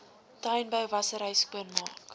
tuinbou wassery skoonmaak